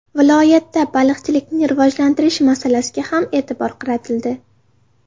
Viloyatda baliqchilikni rivojlantirish masalasiga ham e’tibor qaratildi.